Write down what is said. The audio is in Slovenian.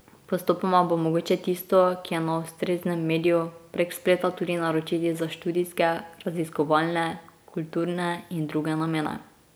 Postopoma bo mogoče tisto, ki je na ustreznem mediju, prek spleta tudi naročiti za študijske, raziskovalne, kulturne in druge namene.